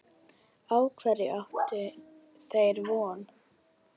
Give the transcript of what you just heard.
Á hverju áttu þeir von?